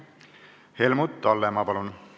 Helmut Hallemaa, palun!